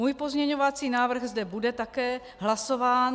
Můj pozměňovací návrh zde bude také hlasován.